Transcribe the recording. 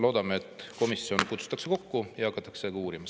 Loodame, et komisjon kutsutakse kokku ja hakatakse seda uurima.